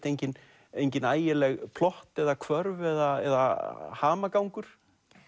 engin engin ægileg plott eða hvörf eða hamagangur